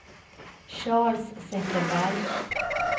Charles Zetterberg